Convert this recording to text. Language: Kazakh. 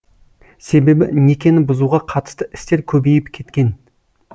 себебі некені бұзуға қатысты істер көбейіп кеткен